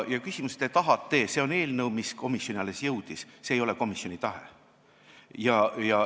See on eelnõu, mis alles komisjoni jõudis, see ei ole komisjoni tahe.